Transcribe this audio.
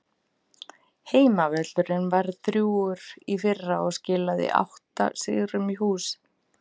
Heimavöllurinn var drjúgur í fyrra og skilaði átta sigrum í hús.